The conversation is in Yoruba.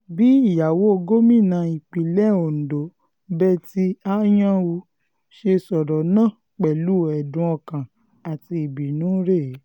bí ìyàwó gómìnà ìpínlẹ̀ ondo betty anyanwu ṣe sọ̀rọ̀ náà pẹ̀lú ẹ̀dùn ọkàn àti ìbínú rèé